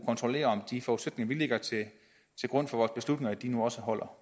kontrollere om de forudsætninger vi lægger til grund for vores beslutninger nu også holder